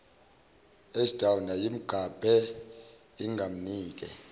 ashdown yayimgabhe ingamnike